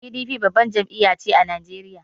PDP babbar jam'iya ce a Najeriya.